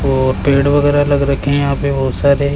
और पेड़ वगैरा लगा रखे हैं यहां पे बहुत सारे --